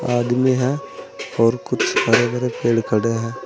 आदमी हैं और कुछ हरे भारे पेड़ खड़े हैं।